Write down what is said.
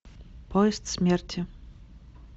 поезд смерти